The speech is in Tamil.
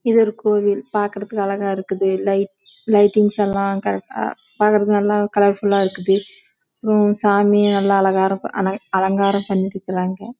இது ஒரு கோவில் பார்க்க அழகா இருக்கு லைட்டிங்ஸ் எலாம் கரெக்ட் ஆஹ் நல்ல அலங்காரம் பங்கிட்டு இருகாங்க